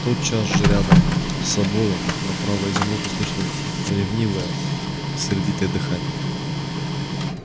тотчас же рядом с собою направо изумруд услышал ревнивое сердитое дыхание